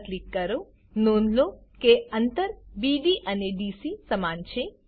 પર ક્લિક કરો નોંધ લો કે અંતર બીડી અને ડીસી સમાન છે